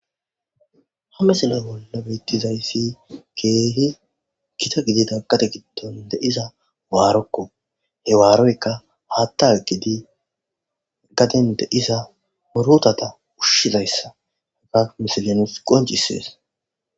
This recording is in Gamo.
Hamesina bolla bettizayssi keehi kita gidida qate giddon de iza waarokko he waaroyka haatta gidi gaden de iza morotata ushshizayssa heka misilenus qoncisees.